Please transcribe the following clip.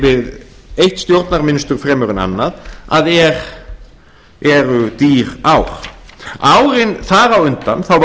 við eitt stjórnarmynstur fremur en annað að eru dýr ár árin þar á undan var